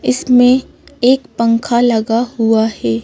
इसमें एक पंखा लगा हुआ है।